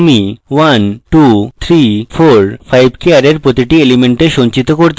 আমি 1 2 3 4 5 কে অ্যারের প্রতিটি পৃথক element সঞ্চিত করতে চাই